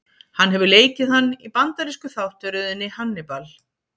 Hann hefur leikið hann í bandarísku þáttaröðinni Hannibal.